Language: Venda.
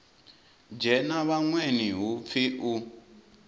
dzhena vhaṅweni hu pfi u